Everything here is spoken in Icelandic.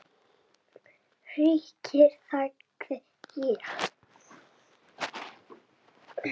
Ríkir, sagði ég.